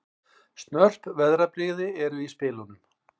Snörp veðrabrigði eru í spilunum